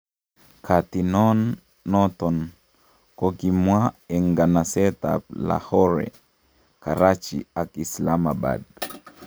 Katinon noton ko kokimwa en nganaset ab Lahore, Karachi ak Islamabad.